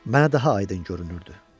Mənə daha aydın görünürdü.